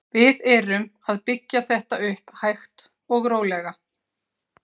Við erum að byggja þetta upp hægt og rólega.